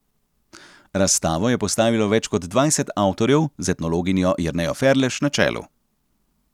Razstavo je postavilo več kot dvajset avtorjev z etnologinjo Jernejo Ferlež na čelu.